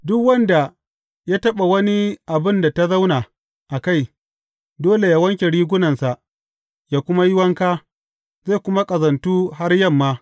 Duk wanda ya taɓa wani abin da ta zauna a kai, dole yă wanke rigunansa yă kuma yi wanka, zai kuma ƙazantu har yamma.